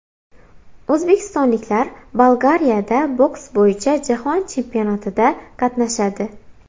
O‘zbekistonliklar Bolgariyada boks bo‘yicha jahon chempionatida qatnashadi.